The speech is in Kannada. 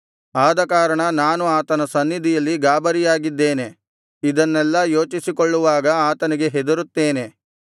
ಆದಕಾರಣ ನಾನು ಆತನ ಸನ್ನಿಧಿಯಲ್ಲಿ ಗಾಬರಿಯಾಗಿದ್ದೇನೆ ಇದನ್ನೆಲ್ಲಾ ಯೋಚಿಸಿಕೊಳ್ಳುವಾಗ ಆತನಿಗೆ ಹೆದರುತ್ತೇನೆ